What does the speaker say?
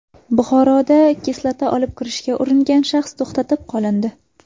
Buxoroda kislota olib kirishga uringan shaxs to‘xtatib qolindi.